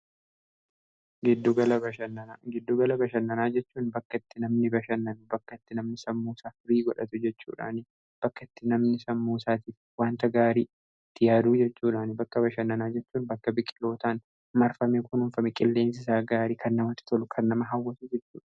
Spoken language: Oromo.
Giddugala bashannanaa jechuun bakkatti namni bashannanu, bakkatti namni sammusaa firii godhatu jechuudhaanii bakkatti namni sammuu saatiif wanta gaarii itti yaaduu jechuudha. Bakka bashannanaa jechuun bakka biqilootaan marfamee kunuunfame qilleensi isaa gaarii kan. namati tolu kan nama hawwatu jechuudha.